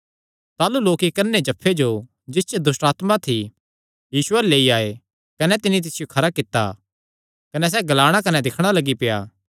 ताह़लू लोक इक्क अन्नेजफ्फे जो जिस च दुष्टआत्मा थी यीशु अल्ल लेई आये कने तिन्नी तिसियो खरा कित्ता कने सैह़ ग्लाणा कने दिक्खणा लग्गी पेआ